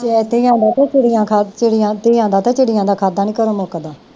ਧੀਆਂ ਦਾ ਤੇ ਚਿੜੀਆਂ ਖਾਧਾ, ਚਿੜੀਆਂ ਧੀਆਂ ਦਾ ਚਿੜੀਆਂ ਦਾ ਖਾਧਾ ਨਹੀਂ ਘਰੋ ਮੁੱਕਦਾ